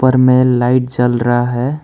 ऊपर में लाइट जल रहा है।